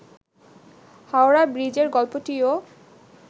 হাওড়া ব্রিজের গল্পটিও